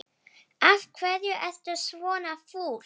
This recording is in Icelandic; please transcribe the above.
Af hverju ertu svona fúll?